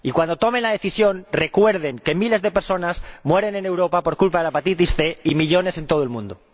Y cuando tomen la decisión, recuerden que miles de personas mueren en Europa por culpa de la hepatitis C, y millones en todo el mundo.